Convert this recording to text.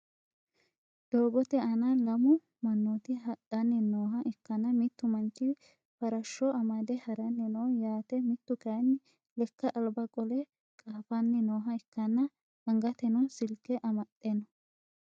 doogote aana lammu manooti hadhanni nooha ikkana mittu manchi farashsho amadde haranni no yaate mittu kayiini lekka aliba qole qaafanni nooha ikanna angatenno Silike amaxe no.